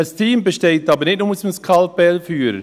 Ein Team besteht aber nicht nur aus dem Skalpellführer.